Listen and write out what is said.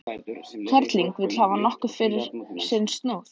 Kerling vill hafa nokkuð fyrir sinn snúð.